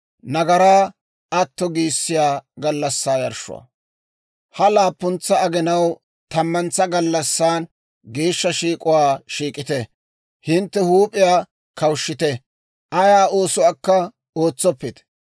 « ‹Ha laappuntsa aginaw tammantsa gallassan geeshsha shiik'uwaa shiik'ite; hintte huup'iyaa kawushshite; ayaa oosuwaakka ootsoppite.